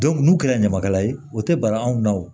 n'u kɛra ɲamakala ye o tɛ bara anw na o